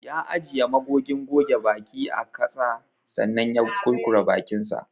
Ya ajiye magogin goge baki a kasa sannan ya kurkura bakinsa.